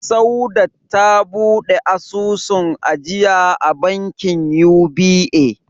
Saudat ta buɗe asusun ajiya a bankin UBA.